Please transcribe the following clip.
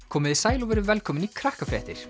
komiði sæl og verið velkomin í